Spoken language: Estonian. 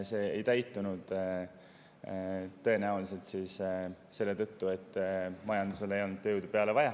See ei täitunud tõenäoliselt selle tõttu, et majanduses ei olnud tööjõudu juurde vaja.